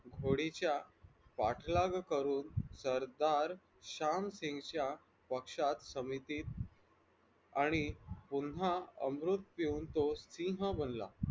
होडीच्या पाठलाग करून श्यामसिंगच्या पक्ष्यात समितीत आणि पुन्हा अमृत बनून तो सिंह बनला.